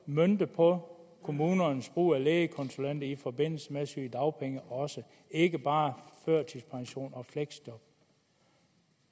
møntet på kommunernes brug af lægekonsulenter også i forbindelse med sygedagpenge og ikke bare førtidspension og fleksjob